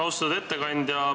Austatud ettekandja!